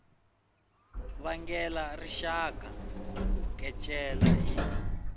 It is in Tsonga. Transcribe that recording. vangela rixaka ku kecela hi